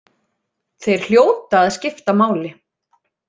Þeir hljóta að skipta máli.